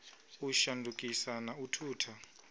u shandukisa na u thutha